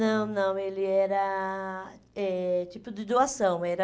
Não, não, ele era eh tipo de doação, era...